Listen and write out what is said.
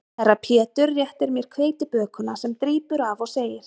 Herra Pétur réttir mér hveitibökuna sem drýpur af og segir